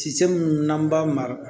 Tise minnu n'an b'a mara